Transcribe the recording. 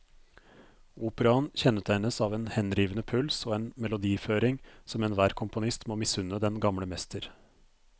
Operaen kjennetegnes av en henrivende puls og en melodiføring som enhver komponist må misunne den gamle mester.